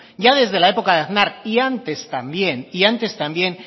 ya desde la época de aznar y antes también y antes también